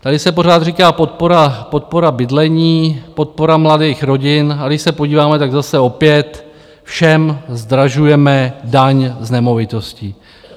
Tady se pořád říká podpora bydlení, podpora mladých rodin, ale když se podíváme, tak zase opět, všem zdražujeme daň z nemovitosti.